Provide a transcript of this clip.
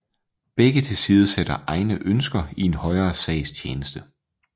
Begge tilsidesætter egne ønsker i en højere sags tjeneste